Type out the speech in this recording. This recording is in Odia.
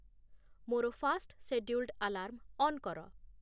ମୋର ଫାର୍ଷ୍ଟ୍‌ ଶେଡ୍ୟୁଲ୍ଡ୍‌ ଆଲାର୍ମ ଅନ୍ କର